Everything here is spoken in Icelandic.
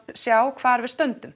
sjá hvar við stöndum